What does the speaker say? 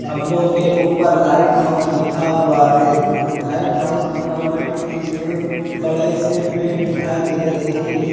खंभों के ऊपर लाइट हाउस लिखा हुआ है लाइट हाउस लिखा हुआ के पीछे बड़े से पेड़ दिखाई दे रहे --